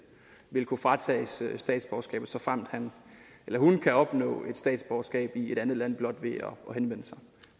vil kunne fratages statsborgerskabet såfremt han eller hun kan opnå et statsborgerskab i et andet land blot